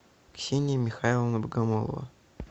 ксения михайловна богомолова